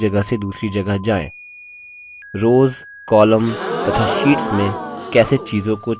rows columns तथा sheets में कैसे चीजों को चुनें